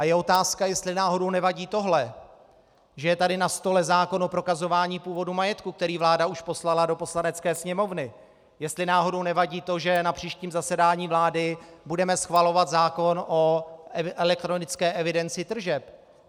A je otázka, jestli náhodou nevadí tohle, že je tady na stole zákon o prokazování původu majetku, který vláda už poslala do Poslanecké sněmovny, jestli náhodou nevadí to, že na příštím zasedání vlády budeme schvalovat zákon o elektronické evidenci tržeb.